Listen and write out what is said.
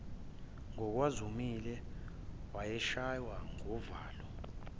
ngokwakumzumile wayeshaywa nguvalo